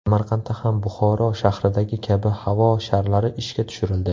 Samarqandda ham Buxoro shahridagi kabi havo sharlari ishga tushirildi.